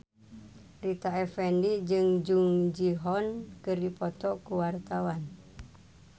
Rita Effendy jeung Jung Ji Hoon keur dipoto ku wartawan